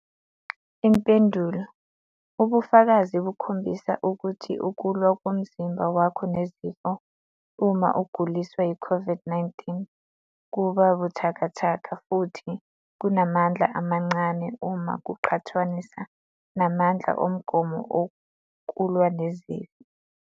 Impendulo- Ubufakazi bukhombisa ukuthi ukulwa komzimba wakho nezifo, uma uguliswa yiCOVID-19, kuba buthakathaka futhi kunamandla amancane uma kuqhathaniswa namandla omgomo okulwa nezifo.